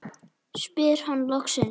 spyr hann loksins.